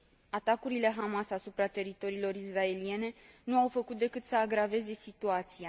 Atacurile Hamas asupra teritoriilor israeliene nu au făcut decât să agraveze situația.